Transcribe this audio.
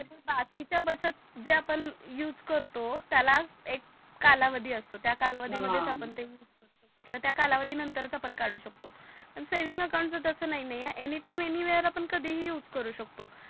बाकीच्या बचत जे आपण यूज करतो त्याला एक काला वाधी असतो हा त्या कालावधी नंतरच आपण यूज करू शकतो किवा त्या कालावधी नंतरच आपण त्याला कडू शकतो पण सेव्हिंग अकाउंट च तस नाही आहे एनीटाइम अन्यव्हेरे आपण कधी ही यूज करू शकतो.